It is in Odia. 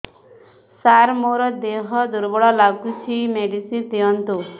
ସାର ମୋର ଦେହ ଦୁର୍ବଳ ଲାଗୁଚି ମେଡିସିନ ଦିଅନ୍ତୁ